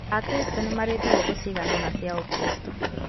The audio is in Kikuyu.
Akristo nĩmarĩ na thigũkũ cigana ũna cia gĩkristo.